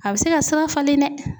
A bɛ se ka sira falen dɛ.